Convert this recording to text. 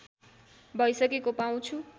भइसकेको पाउँछु